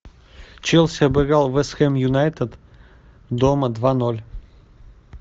челси обыграл вест хэм юнайтед дома два ноль